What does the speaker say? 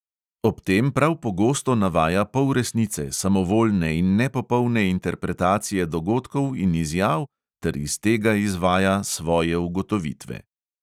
Ob tem prav pogosto navaja polresnice, samovoljne in nepopolne interpretacije dogodkov in izjav ter iz tega izvaja svoje ugotovitve.